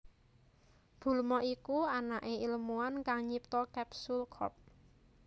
Bulma iku anaké ilmuwan kang nyipta Capsule Corp